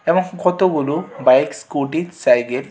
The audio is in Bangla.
এবং কতগুলো বাইক স্কুটি সাইগের --